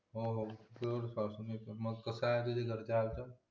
हो हो रोजच वाचतो मी मग कसे आहे तुझ्या घरचे आता